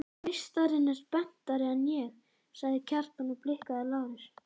Meistarinn er spenntari en ég, sagði Kjartan og blikkaði Lárus.